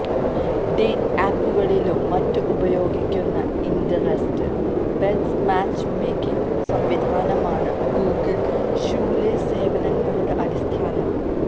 dating ആപ്പുകളിലും മറ്റും ഉപയോഗിക്കുന്ന ഇന്ററസ്റ്റ് ബേസ്ഡ് മാച്ച് മേക്കിങ് സംവിധാനമാണ് ഗൂഗിള് ഷൂലേസ് സേവനങ്ങളുടെ അടിസ്ഥാനം